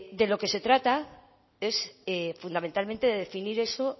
de lo que se trata es fundamentalmente de definir eso